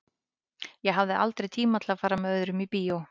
Ég hafði aldrei tíma til að fara með öðrum í bíó.